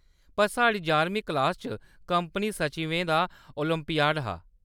पर साढ़ी यारमीं कलास च कंपनी सचिवें दा ओलंपियाड हा।